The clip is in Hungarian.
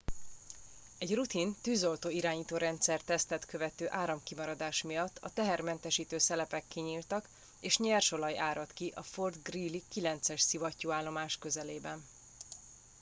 egy rutin tűzoltó irányító rendszer tesztet követő áramkimaradás miatt a tehermentesítő szelepek kinyíltak és nyersolaj áradt ki a fort greely 9 es szivattyúállomás közelében